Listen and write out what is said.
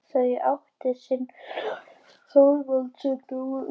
Þau áttu einn son, Þorvald, sem dó ungur.